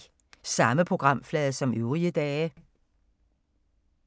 Samme programflade som øvrige dage